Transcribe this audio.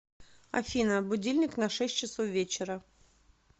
афина будильник на шесть часов вечера